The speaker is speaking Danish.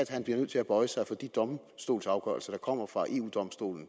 han bliver nødt til at bøje sig for de domstolsafgørelser kommer fra eu domstolen